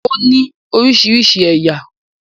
Ó ní orísirísi ẹ̀yà.